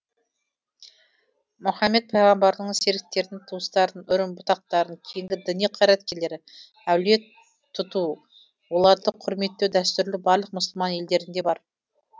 мұхаммед пайғамбардың серіктерін туыстарын үрім бұтақтарын кейінгі діни қайраткерлерді әулие тұту оларды құрметтеу дәстүрлі барлық мұсылман елдерінде бар